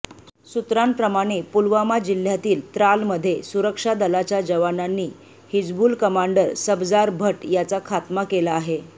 सूत्रांप्रमाणे पुलवामा जिल्ह्यातील त्रालमध्ये सुरक्षा दलाच्या जवानांनी हिजबुल कमांडर सबजार भट्ट याचा खात्मा केला आहे